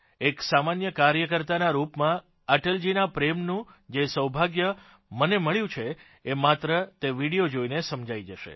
એક સામાન્ય કાર્યકર્તાના રૂપમાં અટલજીના પ્રેમનું જે સૌભાગ્ય મને મળ્યુંસાંપડ્યું છે એ માત્ર તે વિડીયો જોઇને સમજાઇ જશે